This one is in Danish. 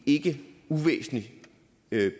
ikke uvæsentligt